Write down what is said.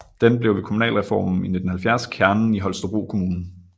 Den blev ved kommunalreformen i 1970 kernen i Holstebro Kommune